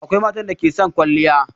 Akwai matan da ke son kwaliya.